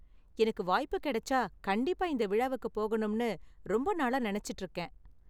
எனக்கு வாய்ப்பு கிடைச்சா கண்டிப்பா இந்த விழாவுக்கு போகணும்னு ரொம்ப நாளா நினைச்சுட்டு இருக்கேன்.